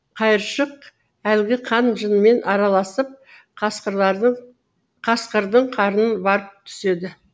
қайыршық әлгі қан жынмен араласып қасқырдың қарнын барып түседі